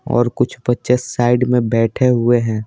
और कुछ बच्चे साइड में बैठे हुए हैं।